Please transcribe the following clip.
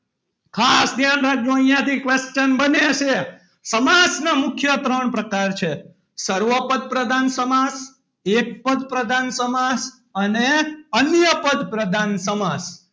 ખાસ ધ્યાન રાખજો. અહીંયાથી question બને છે સમાજના મુખ્ય ત્રણ પ્રકાર છે. સર્વોપદ પ્રધાન સમાસ એક પદ પ્રધાન સમાસ અને અન્ય પદ પ્રધાન સમાસ.